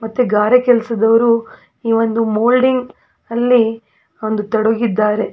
ಮತ್ತೆ ಗಾರೆ ಕೆಲಸದವರು ಇವಂದು ಮೋಲ್ಡಿಂಗ್ ಅಲ್ಲಿ ಒಂದು ತೊಡಗಿದ್ದಾರೆ.